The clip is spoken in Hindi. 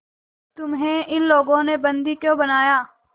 तुम्हें इन लोगों ने बंदी क्यों बनाया